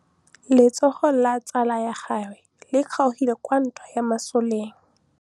Letsôgô la tsala ya gagwe le kgaogile kwa ntweng ya masole.